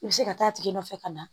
I bɛ se ka taa a tigi nɔfɛ ka na